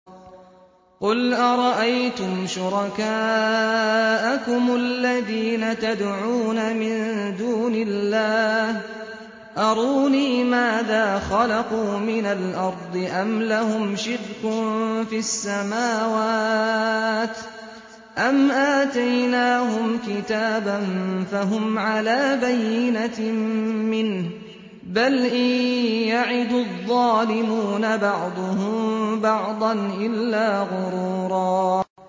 قُلْ أَرَأَيْتُمْ شُرَكَاءَكُمُ الَّذِينَ تَدْعُونَ مِن دُونِ اللَّهِ أَرُونِي مَاذَا خَلَقُوا مِنَ الْأَرْضِ أَمْ لَهُمْ شِرْكٌ فِي السَّمَاوَاتِ أَمْ آتَيْنَاهُمْ كِتَابًا فَهُمْ عَلَىٰ بَيِّنَتٍ مِّنْهُ ۚ بَلْ إِن يَعِدُ الظَّالِمُونَ بَعْضُهُم بَعْضًا إِلَّا غُرُورًا